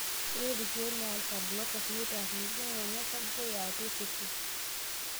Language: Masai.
Ore ilkeek le Alpha Blockers neitaa kutitik ng'onyo osarge yaatua osesen.